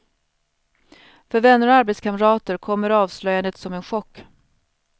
För vänner och arbetskamrater kommer avslöjandet som en chock.